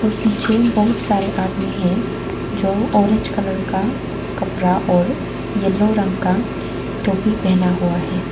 और पीछे बहुत सारे आदमी है जो ऑरेंज कलर का कपड़ा और येलो रंग का टोपी पहना हुआ है।